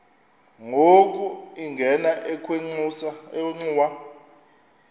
yona ingena ekhwenxua